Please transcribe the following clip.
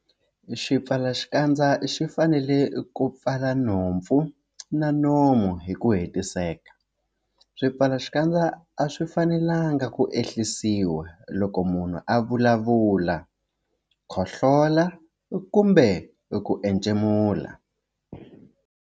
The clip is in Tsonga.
Xipfalaxikandza xi fanele ku pfala nhompfu na nomo hi ku hetiseka. Swipfalaxikandza a swi fanelanga ku ehlisiwa loko munhu a vulavula, khohlola kumbe ku entshemula.